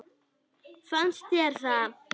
Fannst þér það?